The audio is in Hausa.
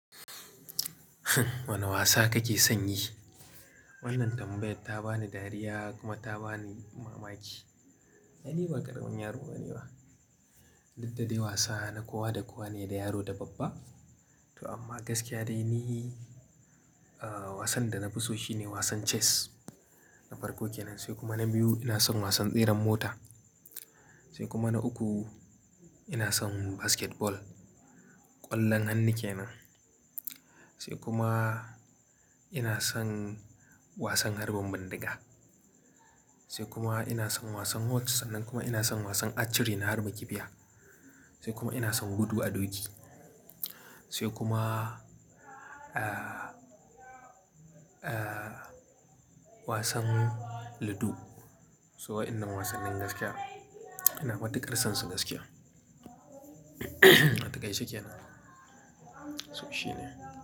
Wane wasa kake son yi? Wannan tambayar ta bani dariya kuma ta bani mamaki. Ni ba ƙaramin yaro ba ne ba. Duk dadai wasa na kowa da kowa ne, da yaro da babba. To amma gaskiya dai ni, ah, wasan da na fi so shi ne wasan chess na farko kenan, sai kuma na biyu ina son wasan tseren mota, sai kuma na uku ina son basketball ƙwallon hannu kenan, sai kuma ina son wasan harbin bindiga, sai kuma ina son wasan whot, sannan kuma ina son wasan archery na harba kifiya, sai kuma ina son gudu a doki, sai kuma, ah, ah, wasan ludo. Su waƴanan wasannin gaskiya ina matukar son su gaskiya. A taƙaice kenan. So shi ne.